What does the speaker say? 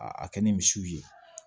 A a kɛ ni misiw ye